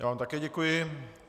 Já vám také děkuji.